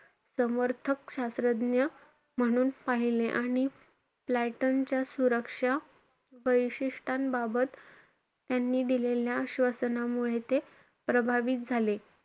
समर्थक शास्त्रज्ञ म्हणून पाहिले आणि प्लेटनच्या सुरक्षा वैशिष्टांबाबत त्यांनी दिलेल्या आश्वासनांमुळे ते प्रभावित झाले.